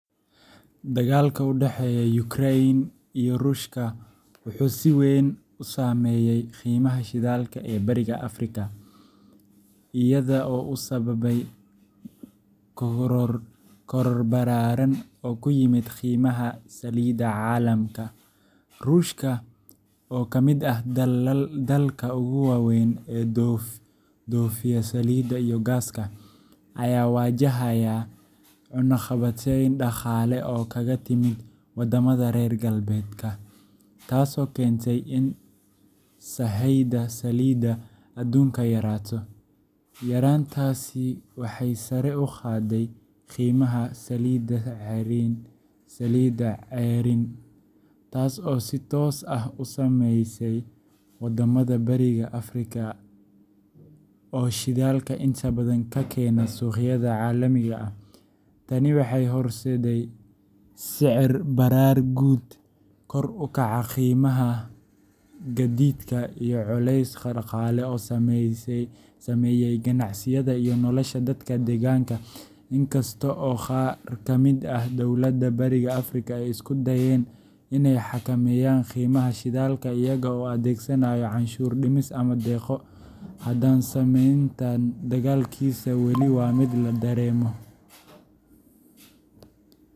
Dagaalka u dhexeeya Ukraine iyo Ruushka wuxuu si weyn u saameeyay qiimaha shidaalka ee Bariga Afrika, iyada oo uu sababay koror ballaaran oo ku yimid qiimaha saliidda caalamka. Ruushka, oo ka mid ah dalalka ugu waaweyn ee dhoofiya saliidda iyo gaaska, ayaa wajahaya cunaqabatayn dhaqaale oo kaga timid waddamada reer galbeedka, taasoo keentay in sahayda saliidda aduunka yaraato. Yaraantaasi waxay sare u qaaday qiimaha saliidda ceeriin, taas oo si toos ah u saamaysay wadamada Bariga Afrika oo shidaalka inta badan ka keena suuqyada caalamiga ah. Tani waxay horseeday sicir-barar guud, kor u kaca qiimaha gaadiidka, iyo culeys dhaqaale oo saameeyay ganacsiyada iyo nolosha dadka deegaanka. Inkasta oo qaar ka mid ah dowladaha Bariga Afrika ay isku dayeen inay xakameeyaan qiimaha shidaalka iyaga oo adeegsanaya canshuur-dhimis ama deeqo, haddana saameynta dagaalkaasi weli waa mid la dareemayo.